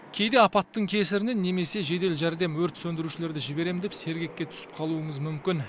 кейде апаттың кесірінен немесе жедел жәрдем өрт сөндірушілерді жіберемін деп сергекке түсіп қалуыңыз мүмкін